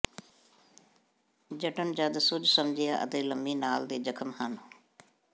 ਜਣਨ ਜਦ ਸੁੱਜ ਸਮਝਿਆ ਅਤੇ ਲੰਮੀ ਲਾਲ ਦੇ ਜ਼ਖਮ ਹਨ